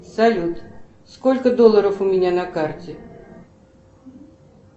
салют сколько долларов у меня на карте